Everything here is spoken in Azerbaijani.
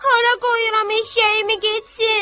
Hara qoyuram eşşəyimi getsin?